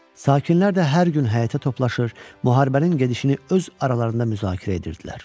Sakinlər də hər gün həyətə toplaşır, müharibənin gedişini öz aralarında müzakirə edirdilər.